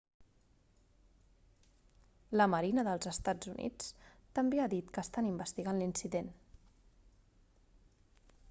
la marina dels eua també ha dit que estan investigant l'incident